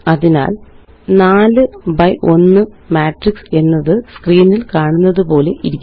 അതിനാല്4 ബി1 മാട്രിക്സ് എന്നത് സ്ക്രീനില് കാണുന്നതുപോലെയിരിക്കും